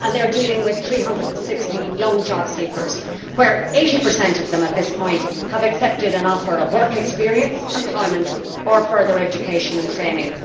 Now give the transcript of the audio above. They are dealing with 316 young jobseekers, 80 of whom at this point have accepted an offer of work experience, employment or further education and training.